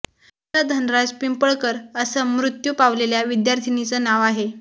सुगंधा धनराज पिंपळकर असं मृत्यू पावलेल्या विद्यार्थिनीचं नाव आहे